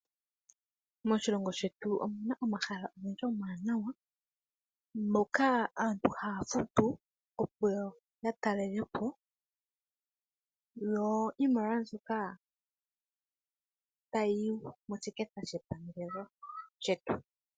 Moshilongo shetu omu na omahala ogendji omawanawa, moka aantu haya futu, opo ya talele po yo iimaliwa mbyoka tayi yi moshiketha shepangelo lyetu.